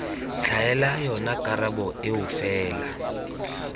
tlhaela yona karabo eo fela